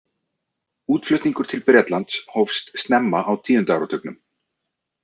Útflutningur til Bretlands hófst snemma á tíunda áratugnum.